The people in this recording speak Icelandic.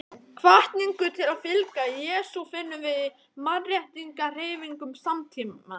Hvatningu til að fylgja Jesú finnum við í mannréttindahreyfingum samtímans.